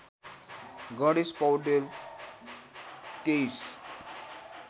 Ganesh Paudel २३